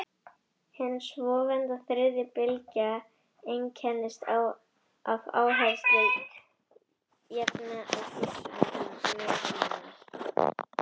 hin svonefnda „þriðja bylgja“ einkennist af áherslu á jafnrétti á forsendum mismunar